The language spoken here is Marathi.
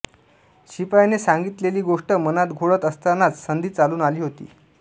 शिपायाने सांगितलेली गोष्ट मनात घोळत असतानाच संधी चालून आली होती